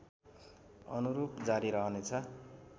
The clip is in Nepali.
अनुरूप जारी रहनेछ